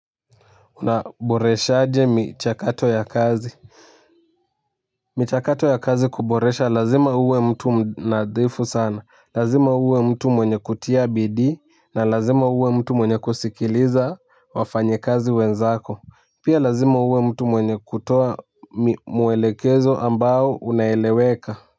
Unaboreshaje michakato ya kazi michakato ya kazi kuboresha lazima uwe mtu mnadhifu sana lazima uwe mtu mwenye kutia bidi na lazima uwe mtu mwenye kusikiliza wafanyikazi wenzako pia lazima uwe mtu mwenye kutoa mwelekezo ambao unaeleweka.